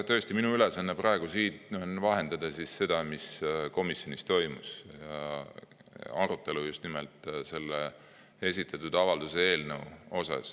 Tõesti, minu ülesanne praegu on vahendada seda, mis komisjonis toimus, arutelu just nimelt selle esitatud avalduse eelnõu üle.